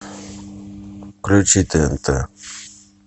включи тнт